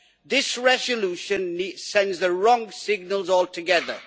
This resolution sends the wrong signals altogether.